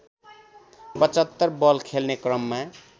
७५ ball खेल्ने क्रममा